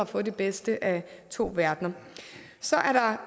får det bedste af to verdener så